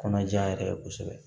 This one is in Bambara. Kɔnɔja yɛrɛ ye kosɛbɛ